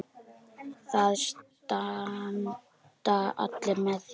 Það standa allir með þér.